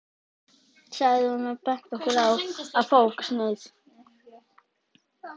sagði hún og benti okkur á að fá okkur sneið.